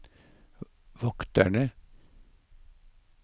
vokterne